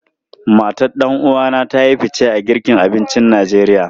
Matan ɗan uwa na ta yi fice a girka abincin Najeriya.